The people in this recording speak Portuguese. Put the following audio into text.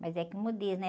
Mas é como diz, né?